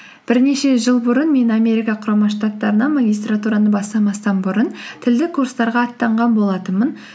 бірнеше жыл бұрын мен америка құрама штаттарына магистратураны бастамастан бұрын тілдік курсттарға аттанған болатынмын